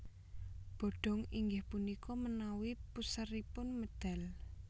Bodong inggih punika menawi puseripun medal